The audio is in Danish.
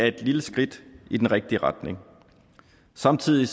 et lille skridt i den rigtige retning samtidig